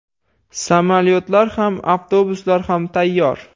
Samolyotlar ham, avtobuslar ham tayyor.